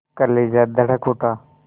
कलेजा धड़क उठा